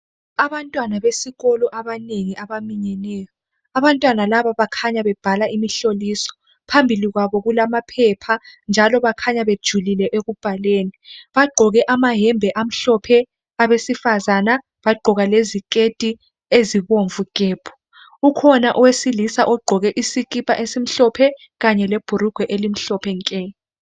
Abantwana besikolo abanengi abaminyeneyo aantwana laba bakhanya bebhala imihloliso phambili kwabo kulamaphepha njalo bakhanya bejulile bagqoke amayembe amhlophe abesifazana bagqoka leziketi ezibomvu gebhu ukhona owesilisa ogqoke isikipa esimhlophe kanye lebhulugwe elimhlophe nke.